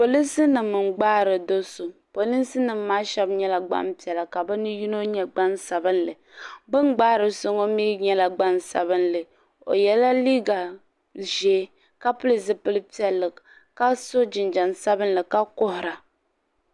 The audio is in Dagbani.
Polinsi nima n gbaari do'so polinsi nima maa sheba nyɛla gbampiɛla ka bɛ yino nyɛ gbansabili bini gbaari so ŋɔ mee nyɛla gbansabili o yela liiga ʒee ka pili piɛlli ka so jinjiɛm sabinli ka kuhura.